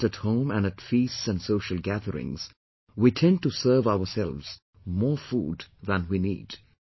We know that at home and at feasts and social gatherings, we tend to serve ourselves more food than we need